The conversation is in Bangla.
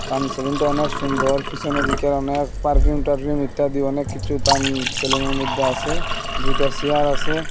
সেলুনটা অনেক সুন্দর পিসনের দিকে অনেক পারফিউম টারফিউম ইত্যাদি অনেককিছু দান সেলুনের মদ্যে আসে দুইটা চেয়ার আসে।